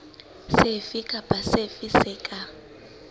sefe kapa sefe se ka